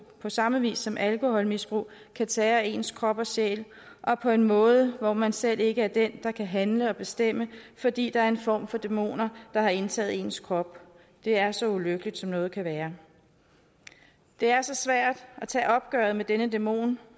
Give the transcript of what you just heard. på samme vis som alkoholmisbrug kan tære ens krop og sjæl op på en måde hvor man selv ikke er den der kan handle og bestemme fordi der er en form for dæmoner der har indtaget ens krop det er så ulykkeligt som noget kan være det er så svært at tage opgøret med denne dæmon